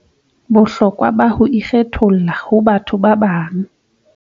Bohlokwa ba ho ikgetholla ho ba bathong ba bang